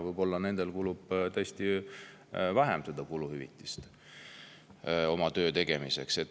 Võib-olla nemad tõesti vähem kuluhüvitisi oma töö tegemiseks.